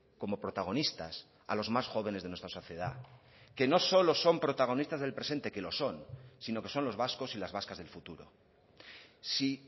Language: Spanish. como protagonistas a los más jóvenes de nuestra sociedad que no solo son protagonistas del presente que lo son sino que son los vascos y las vascas del futuro si